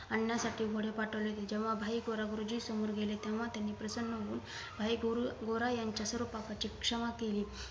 आणण्यासाठी घोडे पाठवले जेंव्हा भाई गोरा गुरुजींसमोर गेले तेंव्हा त्यांनी प्रसन्न होऊन भाई गोरा यांच्या सर्व पापांची क्षमा केली